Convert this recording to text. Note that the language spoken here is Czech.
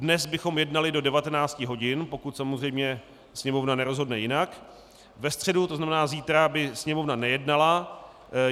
Dnes bychom jednali do 19 hodin, pokud samozřejmě Sněmovna nerozhodne jinak, ve středu, to znamená zítra, by Sněmovna nejednala.